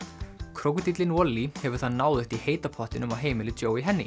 krókódíllinn Wally hefur það náðugt í heita pottinum á heimili